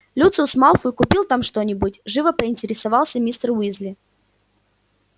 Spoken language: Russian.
люциус малфой купил там что-нибудь живо поинтересовался мистер уизли